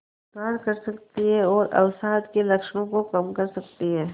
सुधार कर सकती है और अवसाद के लक्षणों को कम कर सकती है